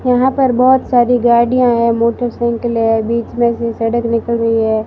यहां पर बहुत सारी गाड़ियां है मोटरसाइकिल है बीच में से सड़क निकल रही है।